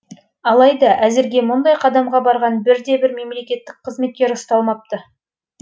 алайда әзірге мұндай қадамға барған бір де бір мемлекеттік қызметкер ұсталмапты